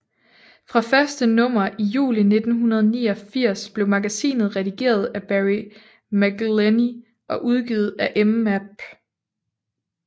Fra første nummer i juli 1989 blev magasinet redigeret af Barry McIlheney og udgivet af Emap